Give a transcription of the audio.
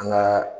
An ka